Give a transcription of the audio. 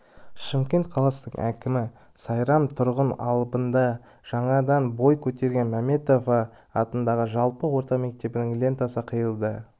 шымкент қаласының әкімі сайрам тұрғын алабында жаңадан бой көтерген маметова атындағы жалпы орта мектебінің лентасын қиды